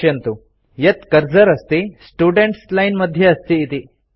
पश्यन्तु यत् कर्सर अस्ति स्टुडेन्ट्स् लाइन् मध्ये अस्ति इति